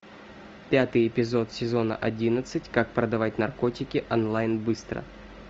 пятый эпизод сезона одиннадцать как продавать наркотики онлайн быстро